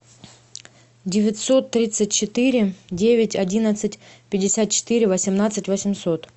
девятьсот тридцать четыре девять одиннадцать пятьдесят четыре восемнадцать восемьсот